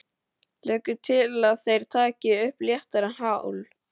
Leggur til að þeir taki upp léttara hjal.